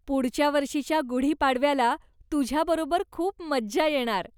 पुढच्या वर्षीच्या गुढी पाडव्याला तुझ्याबरोबर खूप मज्जा येणार.